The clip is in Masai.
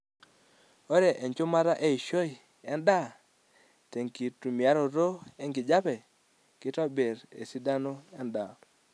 Ore enchumata eishoi endaa tenkitumiaroto enkijape keitobir esidano endaa.